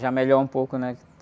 Já melhor um pouco, né?